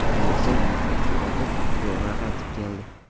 U esa yana qarzga botib, zo‘rg‘a qaytib keldi.